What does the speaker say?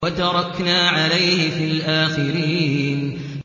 وَتَرَكْنَا عَلَيْهِ فِي الْآخِرِينَ